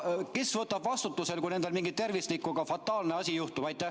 Kes pärast vastutab, kui nendel tervisega mingi fataalne asi juhtub?